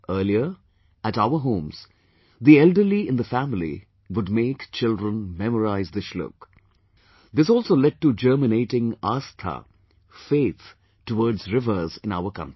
Earlier, at our homes, the elderly in the family would make children memorise the Shlok ...this also led to germinating Aastha, faith towards rivers in our country